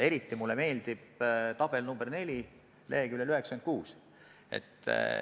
Eriti meeldib mulle tabel nr 4 leheküljel 96.